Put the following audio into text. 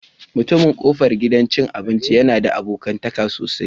Mutumin kofar gidan cin abinci yana da abokantaka sosai